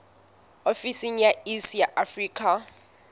ofisi ya iss ya afrika